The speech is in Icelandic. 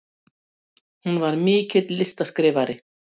Hún var mikill listaskrifari.